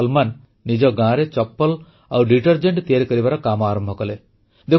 ସଲମାନ ନିଜ ଗାଁରେ ଚପଲ ଆଉ ଡିଟରଜେଂଟ ତିଆରି କରିବାର କାମ ଆରମ୍ଭ କଲେ